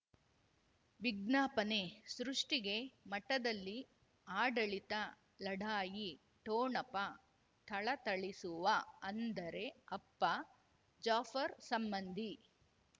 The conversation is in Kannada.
ವಿಜ್ಞಾಪನೆ ಸೃಷ್ಟಿಗೆ ಮಠದಲ್ಲಿ ಆಡಳಿತ ಲಢಾಯಿ ಠೊಣಪ ಥಳಥಳಿಸುವ ಅಂದರೆ ಅಪ್ಪ ಜಾಫರ್ ಸಂಬಂಧಿ